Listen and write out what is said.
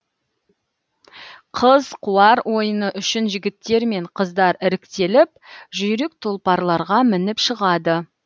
қыз қуар ойыны үшін жігіттер мен қыздар іріктеліп жүйрік тұлпарларға мініп шығады